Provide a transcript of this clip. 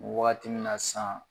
Wagati min na san